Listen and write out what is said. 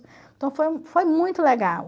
Então, foi foi muito legal.